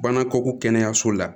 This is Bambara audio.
Bana ko kɛnɛyaso la